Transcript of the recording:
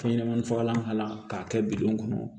Fɛn ɲɛnɛmani fagalan k'a la k'a kɛ bidɔn kɔnɔ